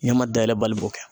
Ɲɛma dayɛlɛ bali b'o kɛ.